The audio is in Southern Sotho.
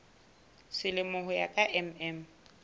selemo ho ya ka mm